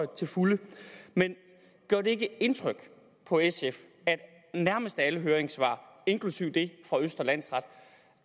til fulde men gør det ikke indtryk på sf at nærmest alle høringssvar inklusive det fra østre landsret